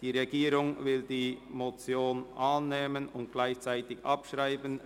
Die Regierung will die Motion annehmen und gleichzeitig abschreiben.